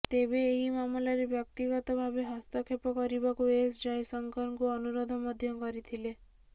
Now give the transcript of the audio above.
ତେବେ ଏହି ମାମଲାରେ ବ୍ୟକ୍ତିଗତ ଭାବେ ହସ୍ତକ୍ଷେପ କରିବାକୁ ଏସ୍ ଜୟଶଙ୍କରଙ୍କୁ ଅନୁରୋଧ ମଧ୍ୟ କରିଥିଲେ